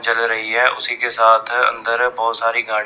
जल रही है उसी के साथ अंदर बहुत सारी गाड़ी--